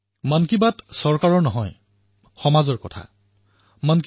সামাজিক জীৱনত সহস্ৰাধিক পদক্ষেপ থাকে তাৰ ভিতৰত এটা পদক্ষেপ ৰাজনীতিও